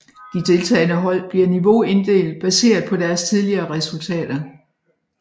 De deltagende hold bliver niveauinddelt baseret på deres tidligere resultater